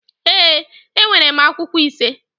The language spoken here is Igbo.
Ee, enwere m akwụkwọ ise